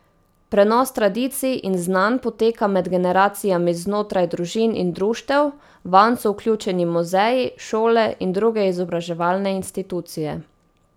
Prenos tradicij in znanj poteka med generacijami znotraj družin in društev, vanj so vključeni muzeji, šole in druge izobraževalne institucije.